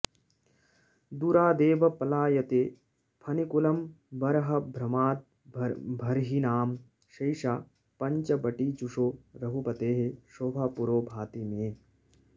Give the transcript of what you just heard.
दूरादेव पलायते फणिकुलं बर्हभ्रमाद्भर्हिणां सैषा पश्चवटीजुषो रघुपतेः शोभा पुरो भाति मे